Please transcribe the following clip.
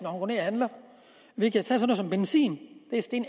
og handler vi kan tage sådan noget som benzin det er steget